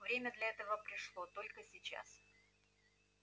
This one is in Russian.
время для этого пришло только сейчас